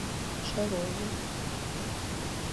шарову